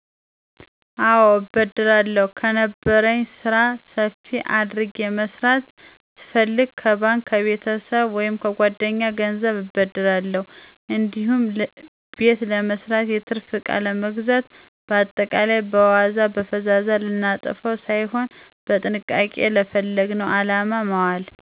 አወ እበደራለሁ, ከነበረኝ ስራ ሰፋ አድርጌ መስራት ስፋልግ ከባንክ፣ ከቤተሰብ ወይምከጓደኛ ገንዘብን እበደራለሁ እንዲሁም ቤተ ለመስራት፣ የትርፍ እቃ ለመግዛት በአጠቃላይ, በዋዛ በፈዛዛ ልናጠፈዉ ሳይሆን በጥንቃቄ ለፈለግነዉ አላማ ማዋል።